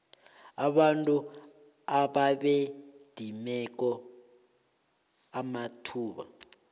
abantu ababedimeke amathuba